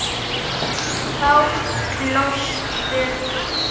Þá hlóstu.